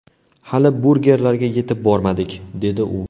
Hali burgerlarga yetib bormadik”, dedi u.